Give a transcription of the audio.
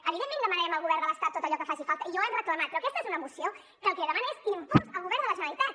evidentment demanarem al govern de l’estat tot allò que faci falta i ho hem reclamat però aquesta és una moció que el que demana és impuls al govern de la generalitat